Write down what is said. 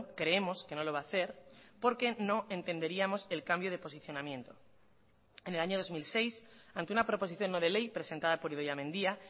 creemos que no lo va a hacer porque no entenderíamos el cambio de posicionamiento en el año dos mil seis ante una proposición no de ley presentada por idoia mendia